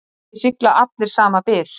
Ekki sigla allir sama byr.